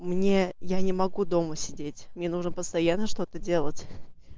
мне я не могу дома сидеть мне нужно постоянно что-то делать